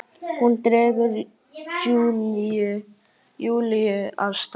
Hún dregur Júlíu af stað.